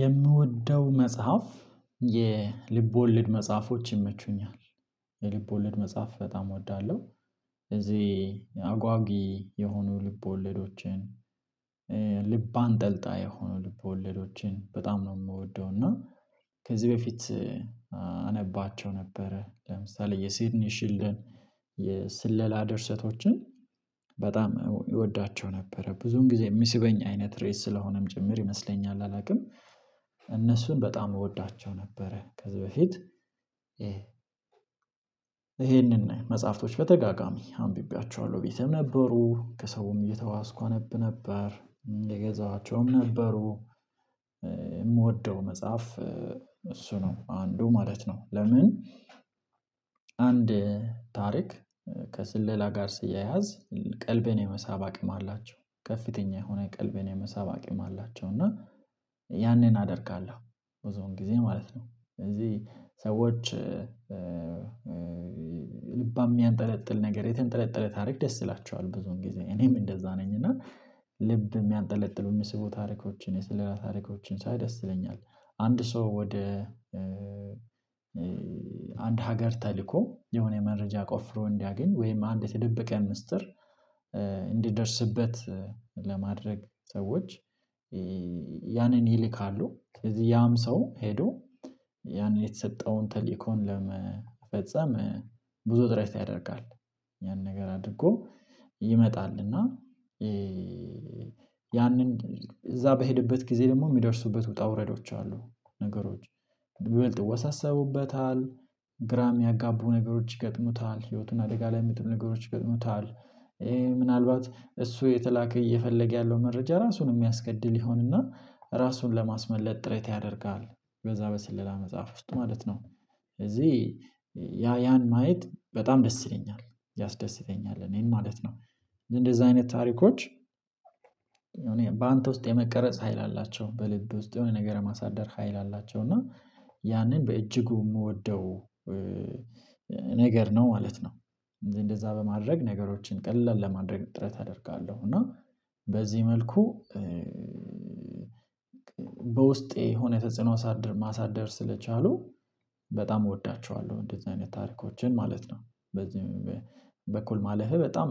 የምወደው መጽሐፍ የልብ ወለድ መጽሐፎች ይመቹኛል የልብ ወለድ መጽሐፍ በጣም እወዳለሁ። እዚህ አጓጊ የሆኑ ልብወለዶችን። ልብ አንጠልጣይ የሆኑ ልብወለዶችን በጣም ነው የምወደው እና። ከዚህ በፊት አነባቸው ነበረ ለምሳሌ የሲድኒ ሽልደን የስለላ ደርሰቶችን በጣም እወዳቸው ነበረ። ብዙን ጊዜ የሚስበኝ አይነት ርዕስ ስለሆነም ጭምር ይመስለኛል አላውቅም እነሱን በጣም እወዳቸው ነበረ። ከዚህ በፊት ይሄንን መጽሐፍቶች በተደጋጋሚ አንብቤያችኋለሁ ቤቴም ነበሩ ከሰውም እየተዋስኩ አነብ ነበር የገዛኋቸውም ነበሩ። የምወደው መጽሐፍ እሱ ነው አንዱ ማለት ነው። ለምን አንድ ታሪክ ከስለላ ጋር ሲያያዝ ቀልቤን የመሳብ አቅም አላቸው ከፍተኛ የሆነ ቀልቤን የመሳብ አቅም አላቸው። እና ያንን አደርጋለሁ ብዙውን ጊዜ ማለት ነው ስለዚህ ሰዎች ልባም የሚያንጠለጥል ነገር የተንጠለጠለ ታሪክ ደስ ይላቸዋል ብዙውን ግዜ እኔም እንደዛ ነኝ እና ልብ የሚያንጠለጥሉ የሚስቡ ታሪኮችን የስለላ ታሪኮችን ሳይ ደስ ይለኛል። አንድ ሰው ወደ አንድ ሀገር ተልኮ የሆነ መረጃ ቆፍሮ እንዲያገኝ ወይም አንድ የተደበቀ ምስጢር እንዲደርስበት ለማድረግ ሰዎች ያንን ይልካሉ ከዚህ ያም ሰው ሄዶ ያንን የተሰጠውን ተልእኮን ለመፈጸም ብዙ ጥረት ያደርጋል። ያን ነገር አድርጎ ይመጣል እና ያንን እዛ በሄደበት ጊዜ ደግሞ የሚደርሱበት ውጣ ውረዶች አሉ ነገሮች ይበልጥ ይወሳሰቡበታል ግራ ሚያጋቡ ነገሮች ይገጥሙታል ህይወቱን አደጋ ላይ ሚጥሉ ነገሮች ይገጥሙታል። ምናልባት እሱ የተላከ እየፈለገ ያለው መረጃ ራሱን የሚያስገድል ይሆንና ራሱን ለማስመለጥ ጥረት ያደርጋል በዛ በስለላ መጽሐፍ ውስጥ ማለት ነው። ስለዚህ ያ ያን ማየት በጣም ደስ ይለኛል ያስደስተኛል እኔን ማለት ነው። እንደዛ አይነት ታሪኮች እኔ በአንተ ውስጥ የመቀረጽ ሀይል አላቸው በልብ ውስጥ የሆነ ነገር የማሳደር ሀይል አላቸው። እና ያንን በእጅጉ የምወደው ነገር ነው ማለት ነው። እንደዛ በማድረግ ነገሮችን ቀላል ለማድረግ ጥረት አደርጋለሁ እና በዚህ መልኩ በውስጤ የሆነ ተጽዕኖ ማሳደር ስለቻሉ በጣም እወዳቸዋለሁ። እንደዚህ አይነት ታሪኮችን ማለት ነው በዚህ በኩል ማለፌ በጣም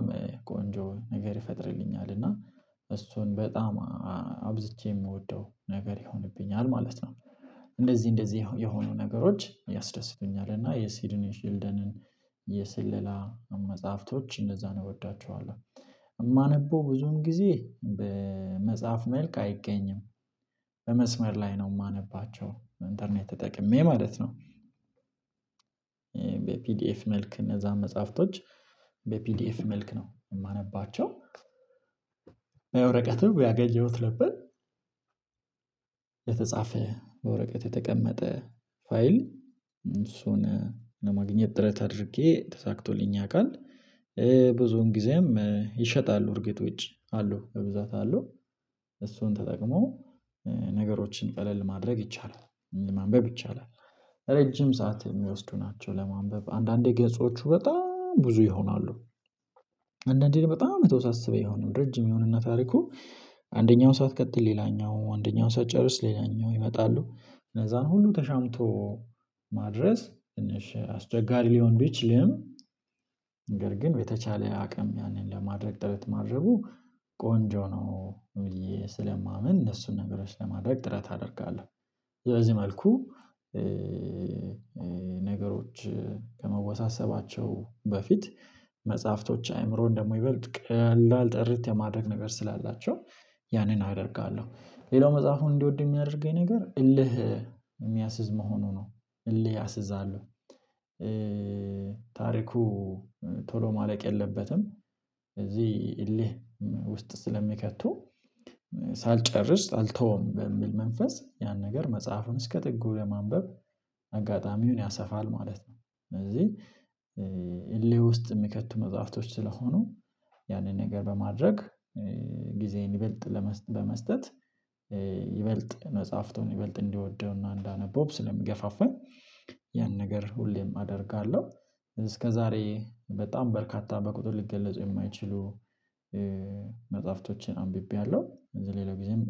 ቆንጆ ነገር ይፈጥርልኛል እና እሱን በጣም አብዝቼ የምወደው ነገር ይሆንብኛል ማለት ነው። እንደዚህ እንደዚህ የሆኑ ነገሮች ያስደስቱኛል እና የሲድኒ ሺልደንን የስለላ መጽሐፍቶች እነዛን እወዳቸዋለሁ እማነበው ብዙውን ጊዜ በመጽሐፍ መልክ አይገኝም በመስመር ላይ ነው የማነባቸው እንተርኔት ተጠቅሜ ማለት ነው። በፒዲኤፍ መልክ እነዛን መጽሐፍቶች በፒዲኤፍ መልክ ነው የማነባቸው ያገኘሁት ነበር የተጻፈ በወረቀት የተቀመጠ ፋይል እሱን ለማግኘት ጥረት አድርጌ ተሳክቶልኝ ያውቃል ብዙውን ጊዜም ይሸጣሉ እርግጥ ውጪ አሉ በብዛት አሉ። እሱን ተጠቅሞ ነገሮችን ቀለል ማድረግ ይቻላል ማንበብ ይቻላል ረጅም ሰዓት የሚወስዱ ናቸው ለማንበብ አንዳንዴ ገጾቹ በጣም ብዙ ይሆናሉ። አንዳንዴ በጣም የተወሳስበ ይሆናል ረጅም ይሆንና ታሪኩ አንደኛው ሳትቀጥል ሌላኛው አንደኛውን ሳትጨርስ ሌላኛው ይመጣሉ እነዛን ሁሉ ተሻምቶ ማድረስ ትንሽ አስቸጋሪ ሊሆን ቢችልም ነገር ግን በተቻለ አቅም ያንን ለማድረግ ጥረት ማድረጉ ቆንጆ ነው ብዬ ስለማምን እነሱን ነገሮች ለማድረግ ጥረት አደርጋለሁ። በዚህ መልኩ ነገሮች ከመወሳሰባቸው በፊት መጽሐፍቶች አይምሮን ደግሞ ይበልጥ ቀላል ጥርት የማድረግ ነገር ስላላቸው ያንን አደርጋለሁ ሌላው መጽሐፉን እንድወድ የሚያደርገኝ ነገር እልህ የሚያስዝ መሆኑ ነው። እልህ ያሲዛሉ ታሪኩ ቶሎ ማለቅ የለበትም እዚህ እልህ ውስጥ ስለሚከቱ ሳልጨርስ አልተውም በሚል መንፈስ ያን ነገር መጽሐፉን እስከ ጥጉ ለማንበብ አጋጣሚውን ያሰፋል ማለት ነው። ስለዚህ እልህ ውስጥ የሚከቱ መጽሐፍቶች ስለሆኑ ያንን ነገር በማድረግ ጊዜዬን ይበልጥ በመስጠት ይበልጥ መጽሐፍቱን ይበልጥ እንድወደው እና እንዳነበው ስለሚገፋፋኝ ያን ነገር ሁሌም አደርጋለሁ። እስከዛሬ በጣም በርካታ በቁጥር ሊገለጹ የማይችሉ መጽሐፍቶችን አንብቤያለሁ ከዝ ሌላ ጊዜም